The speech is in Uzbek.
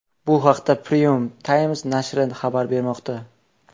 Bu haqda Premium Times nashri xabar bermoqda .